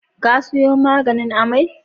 Ka sayo maganin amai?